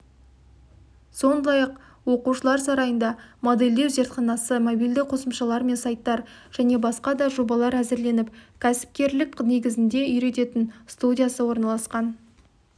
сондай-ақ оқушылар сарайында модельдеу зертханасы мобильді қосымшалар мен сайттар және басқа да жобалар әзірленіп кәсіпкерлік негізіне үйрететін студиясы орналасқан